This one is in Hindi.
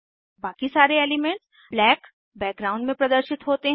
बाकी सारे एलीमेन्ट्स ब्लैक बैकग्राउंड में प्रदर्शित होते हैं